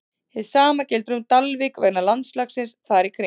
Hið sama gildir um Dalvík vegna landslagsins þar í kring.